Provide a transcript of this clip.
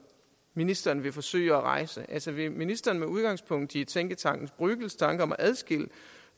ministeren vil forsøge at rejse altså vil ministeren med udgangspunkt i tænketanken bruegels tanker om at skille